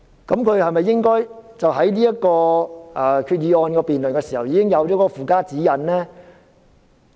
是否應該在提出這項決議案辯論時已經訂立附加指引呢？